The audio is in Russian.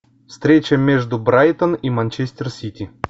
встреча между брайтон и манчестер сити